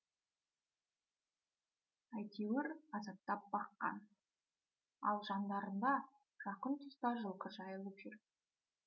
әйтеуір азаптап баққан ал жандарында жақын тұста жылқы жайылып жүр